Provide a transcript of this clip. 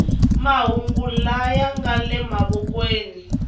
mahungu laya nga le mavokweni